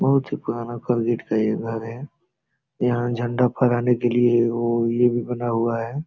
बहुत ही पुराना कोलगेट का ये घर है यहाँ झण्डा फहराने के लिए एगो ई ए भी बना हुआ है।